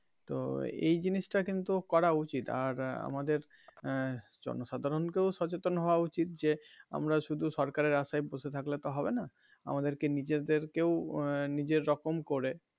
তো এই জিনিসটা কিন্তু করা উচিত আর আমাদের আহ জন সাধারণ কেও সচেতন হওয়া উচিত যে আমরা শুধু সরকারের আশায় বসে থাকলে তো হবে না আমাদের কে নিজেদেরকেও নিজের রকম করে.